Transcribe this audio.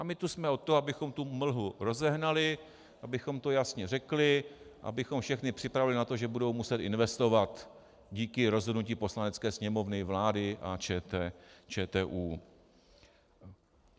A my jsme tu od toho, abychom tu mlhu rozehnali, abychom to jasně řekli, abychom všechny připravili na to, že budou muset investovat díky rozhodnutí Poslanecké sněmovny, vlády a ČTÚ.